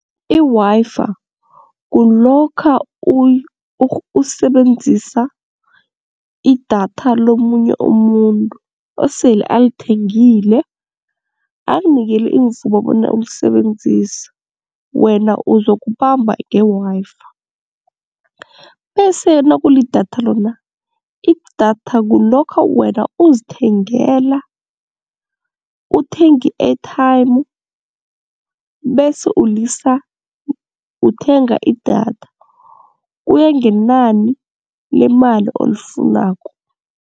I-Wi-Fi kulokha usebenzisa idatha lomunye umuntu osele alithengile akunikele imivumo bona ulisebenzise, wena ukuzokubamba nge-Wi-Fi. Bese nakulidatha lona, idatha kulokha wena uzithengela, uthenga i-ethayimu bese ulisa uthenga idatha kuya ngenani lemali olifunako.